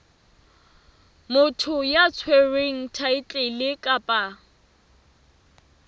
motho ya tshwereng thaetlele kapa